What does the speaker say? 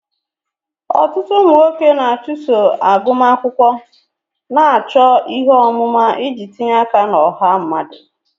Ọtụtụ ụmụ nwoke na-achụso agụmakwụkwọ, na-achọ ihe ọmụma iji tinye aka na ọha mmadụ.